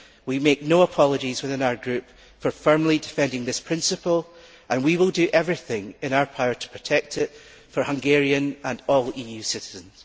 We make no apologies within our group for firmly defending this principle and we will do everything in our power to protect it, for Hungarians and all EU citizens.